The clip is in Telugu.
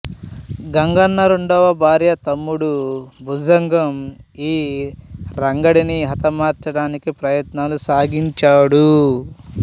గంగన్న రెండవభార్య తమ్ముడు భుజంగం ఈ రంగడిని హతమార్చడానికి ప్రయత్నాలు సాగించాడు